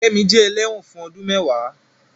Kẹ́mi jẹ́ ẹlẹ́wọ̀n fún ọdún mẹ́ẹ̀wá